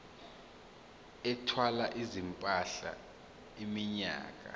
ethwala izimpahla iminyaka